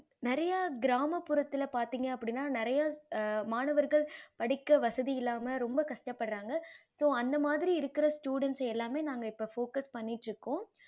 நெறைய கிராம புறத்துல பாத்திங்க அப்படின்னா நெறைய மாணவர்கள் படிக்க வசதி இல்லாமல் ரொம்ப கஷ்டபடுறாங்க so அந்த மாறி இருக்கற students எல்லாமே நாங்க focus பண்ணிட்டு இருக்கோம்